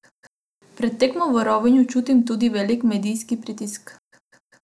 Pred tekmo v Rovinju čutim tudi velik medijski pritisk.